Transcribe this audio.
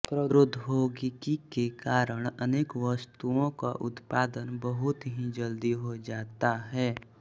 प्रौद्योगिकि के कारण अनेक वस्तुऔ क उत्पदन बहुत ही जल्दी हो जाता है